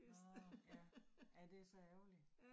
Nåh ja. Ja, det så ærgerligt